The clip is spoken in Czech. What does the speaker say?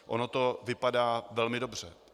Ono to vypadá velmi dobře.